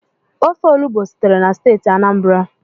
Ofe olubo sitere na steeti Anambra